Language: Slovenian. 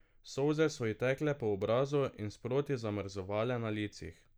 Solze so ji tekle po obrazu in sproti zamrzovale na licih.